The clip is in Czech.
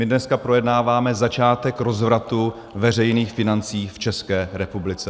My dneska projednáváme začátek rozvratu veřejných financí v České republice.